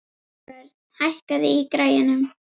Þórörn, hækkaðu í græjunum.